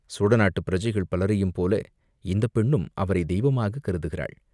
சோழநாட்டுப் பிரஜைகள் பலரையும் போல இந்தப் பெண்ணும் அவரைத் தெய்வமாகக் கருதுகிறாள்!